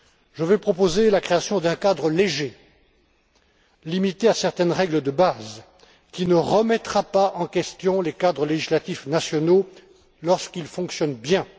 Je veux proposer la création d'un cadre léger, limité à certaines règles de base, qui ne remettra pas en question les cadres législatifs nationaux lorsqu'ils fonctionnent bien.